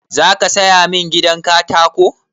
Za ka saya min gidan katako?